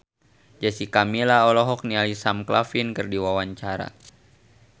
Jessica Milla olohok ningali Sam Claflin keur diwawancara